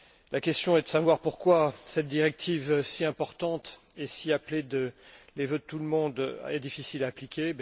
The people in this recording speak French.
La question est de savoir pourquoi cette directive, si importante et si appelée des vœux de tout le monde, est difficile à appliquer.